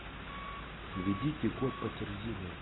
введите код подтверждения